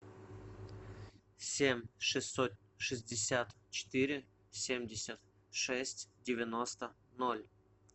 семь шестьсот шестьдесят четыре семьдесят шесть девяносто ноль